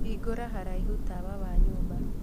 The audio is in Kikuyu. hingũra haraihu tawa wa nyũmba